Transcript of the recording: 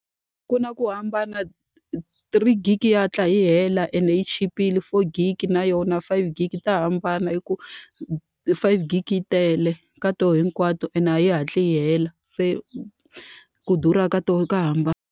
Ku na ku hambana three gig-i yi ya hatla yi hela ende yi chipile, four gig-i na yona, five gig-i. Ta hambana hikuva five gig-i yi tele ka tona hinkwato ende a yi hatli yi hela, se ku durha ka tona ta hambana.